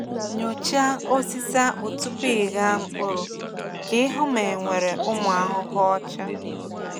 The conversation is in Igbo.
Nyochaa osisi akpụ tupu ịgha mkpụrụ ka ị hụ ma enwere ụmụ ahụhụ ọcha.